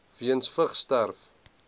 weens vigs sterf